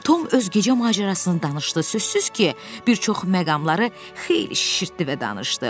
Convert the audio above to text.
Tom öz gecə macərasını danışdı, sözsüz ki, bir çox məqamları xeyli şişirtdi və danışdı.